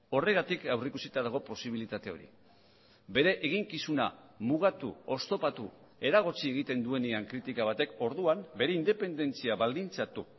horregatik aurrikusita dago posibilitate hori bere eginkizuna mugatu oztopatu eragotzi egiten duenean kritika batek orduan bere independentzia baldintzatu